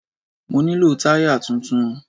Mo nílò táyà tuntun.